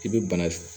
I bɛ bana